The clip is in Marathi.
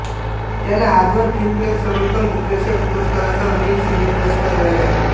त्याला आजवर फिल्मफेअर सर्वोत्तम दिग्दर्शक पुरस्कारासह अनेक सिनेपुरस्कार मिळाले आहेत